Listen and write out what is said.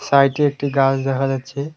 সাইটে একটি গাছ দেখা যাচ্ছে।